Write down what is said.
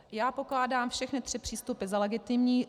Já pokládám všechny tři přístupy za legitimní.